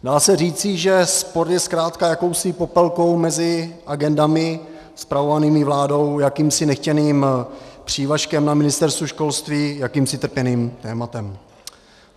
Dá se říci, že sport je zkrátka jakousi popelkou mezi agendami spravovanými vládou, jakýmsi nechtěným přívažkem na Ministerstvu školství, jakýmsi trpěným tématem.